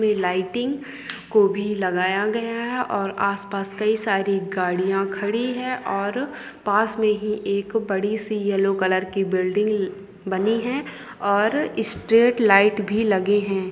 ये लाइटिंग को भी लगाया गया है और आसपास कई सारी गाड़ियाँ खड़ी है और पास में ही एक बड़ी- सी येलो कलर की बिल्डिंग बनी है और स्ट्रीट लाइट भी लगे हैं।